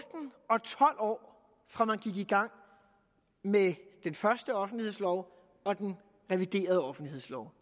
og tolv år fra man gik i gang med den første offentlighedslov og den reviderede offentlighedslov